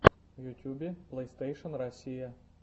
в ютюбе плейстейшен россия